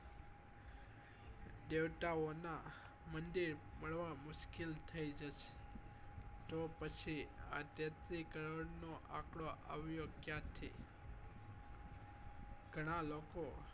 દેવતાઓ ના મંદિર મળવા મુશ્કિલ થઇ જશે તો પછી આ તેત્રી કરોડ નો આંકડો આવ્યો ક્યાંથી ગણા લોકો